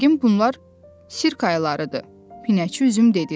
Yəqin bunlar sirk ayılarıdır, Pinəçi üzüm dedi.